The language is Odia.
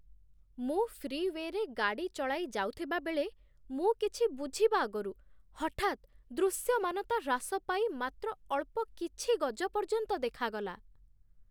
ମୁଁ ଫ୍ରିୱେରେ ଗାଡ଼ି ଚଳାଇ ଯାଉଥିବାବେଳେ ମୁଁ କିଛି ବୁଝିବା ଆଗରୁ ହଠାତ୍ ଦୃଶ୍ୟମାନତା ହ୍ରାସ ପାଇ ମାତ୍ର ଅଳ୍ପ କିଛି ଗଜ ପର୍ଯ୍ୟନ୍ତ ଦେଖାଗଲା।